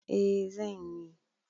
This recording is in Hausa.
E, zan yi